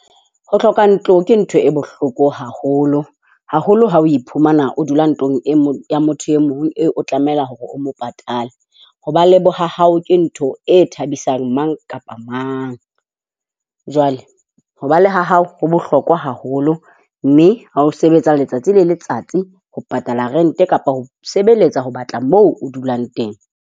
Ho hloka ntlo ke ntho e bohloko haholo. Haholo ha o iphumana o dula ntlong e mong ya motho e mong eo o tlameha hore o mo patale. Ho ba le bohahao ke ntho e thabisang mang kapa mang. Jwale ho ba le ha hao ho bohlokwa haholo, mme ha o sebetsa le letsatsi le letsatsi ho patala rent kapa ho sebeletsa ho batla moo o dulang teng.